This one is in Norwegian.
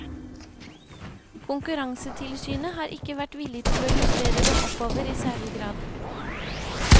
Konkurransetilsynet har ikke vært villig til å justere dem oppover i særlig grad.